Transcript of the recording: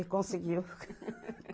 E conseguiu.